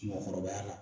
Mɔgɔkɔrɔba la